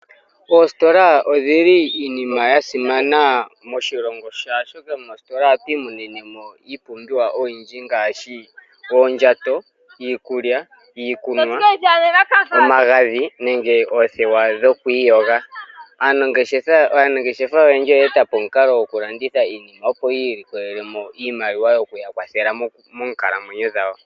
Oositola odhili iinima yasimana moshilongo oahoka moositola ohatu imonenemo iipumbiwa oyindji ngaashi oondjato, iikulya no, omagadhi nenge oothewa dhokwiiyoga . Aanangeshefa oyendji oye etapo omukalo gokulanditha iinima opo yi ilikolelemo iimaliwa yoku yakwathela moonkalamwenyo dhawo.